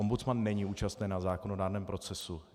Ombudsman není účasten na zákonodárném procesu.